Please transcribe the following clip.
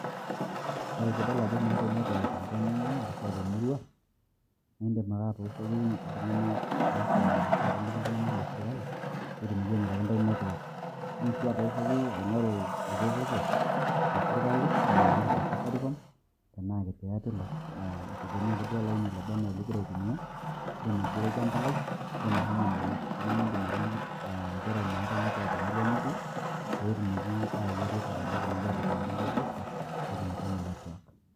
Ore pidol ajo meetae network tenkop ningwaa arashu temurua nindim ake atooshoki iltunganak oifaa arashu otoliki itunganak le sirkali pee etumoi ainguraki ntae network , indim sii atooshoki aingoru ereteto te sirkali , indim aingoru te safaricom tenaa te airtel aa eitegemea ake duo olaini loba anaa lingira aitumia, indim aigeroki empalai , indim ahomo nena ofisini nindim atoliki nchere meetae network temurua nitii pee etumoki aayau ereteto pee etumoki aipikaki intae booster pitumutumu network.